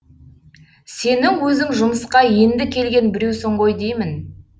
сенің өзің жұмысқа енді келген біреусің ғой деймін